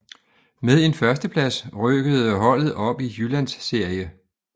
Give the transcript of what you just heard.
Med en førsteplads rykkede holdet op i Jyllandsserie